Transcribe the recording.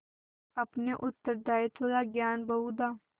अपने उत्तरदायित्व का ज्ञान बहुधा